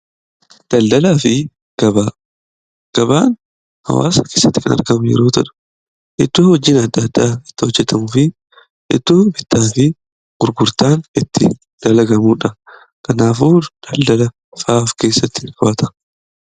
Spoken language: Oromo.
gabaan hawaasa kessatti kan argamu yeroo ta'u. iddoo hojiin addaa addaa itti hojjetamuufi iddoo bittaa fi gurgurtaan itti dalagamuudha. kanaafuu daldalafaa of keessatti qabata.